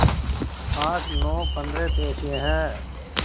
आठ नौ पंद्रह पैसे हैं